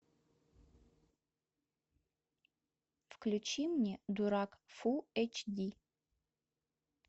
включи мне дурак фул эйч ди